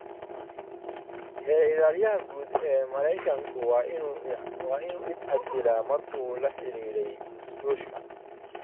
Xeer ilaaliyaha guud ee Maraykanku waa inuu is casilaa markuu la xidhiidhay Ruushka